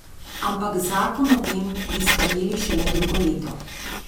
Ampak zakon o tem bi sprejeli šele drugo leto.